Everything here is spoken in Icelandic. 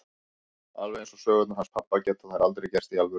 Alveg eins og sögurnar hans pabba geta þær aldrei gerst í alvörunni.